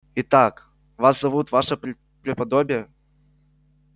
итак вас зовут ваше преподобие